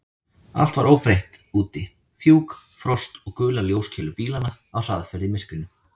Allt var óbreytt úti: fjúk, frost og gular ljóskeilur bílanna á hraðferð í myrkrinu.